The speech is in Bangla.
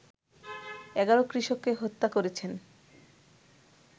১১ কৃষককে হত্যা করেছেন